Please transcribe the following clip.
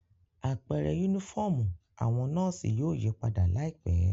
Apẹrẹ unifọmú awọn nọọsi yóò yipada laipẹ.